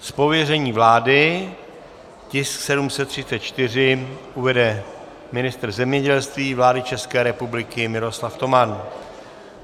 Z pověření vlády tisk 734 uvede ministr zemědělství vlády České republiky Miroslav Toman.